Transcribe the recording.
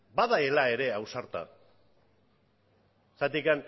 badela ere ausarta zergatik